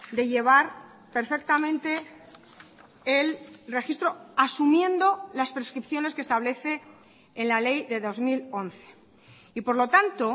de llevar perfectamente el registro asumiendo las prescripciones que establece en la ley de dos mil once y por lo tanto